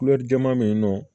jɛman be yen nɔ